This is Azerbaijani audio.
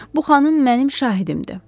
Bu xanım mənim şahidimdir.